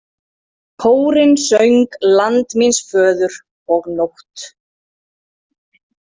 Kórinn söng Land míns föður og Nótt.